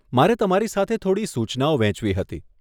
મારે તમારી સાથે થોડી સૂચનાઓ વહેંચવી હતી.